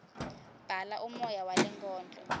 bhala umoya walenkondlo